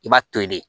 I b'a to yen de